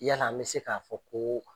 Yala an bɛ se k'a fɔ ko?